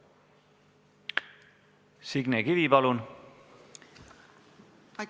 Signe Kivi, palun!